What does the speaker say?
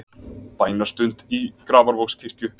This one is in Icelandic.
Bænastund í Grafarvogskirkju